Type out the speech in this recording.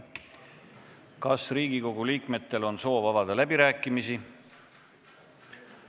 Kas Riigikogu liikmetel on soov avada läbirääkimisi?